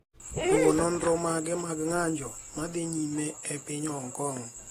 luwo nonro mage mag ng’anjo ma dhi nyime e piny Hong Kong.